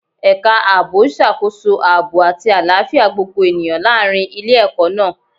Ẹ̀ka ààbò ń ṣàkóso aaboy àti àlàáfíà gbogbo ènìyàn láàrin ilé-ẹkọ náà